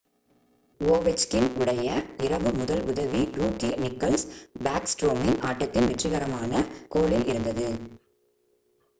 Ovechkin உடைய இரவு முதல் உதவி ரூக்கி நிக்லஸ் பேக்ஸ்ட்ரோமின் ஆட்டத்தின் வெற்றிக்கான கோலில் இருந்தது